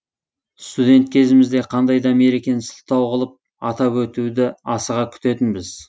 студент кезімізде қандай да мерекені сылтау қылып атап өтуді асыға күтетінбіз